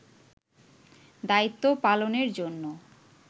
দায়িত্ব পালনের জন্য